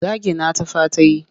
Zagina ta fa ta yi.